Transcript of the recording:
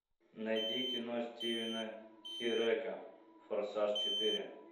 найди кино стивена хирека форсаж четыре